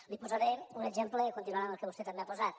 li’n posaré un exemple continuant amb el que vostè ha posat